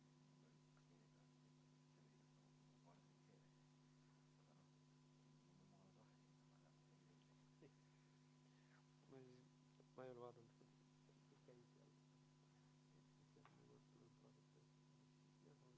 Neli minutit vaheaega, proovime siis uuesti ühendust saada.